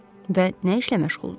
Və nə işlə məşğuldunuz?